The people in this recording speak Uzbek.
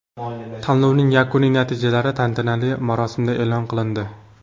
Tanlovning yakuniy natijalari tantanali marosimda e’lon qilindi.